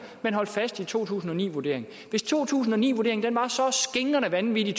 man holdt fast i to tusind og ni vurderingen hvis to tusind og ni vurderingen var så skingrende vanvittig